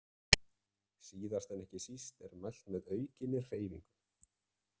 Síðast en ekki síst er mælt með aukinni hreyfingu.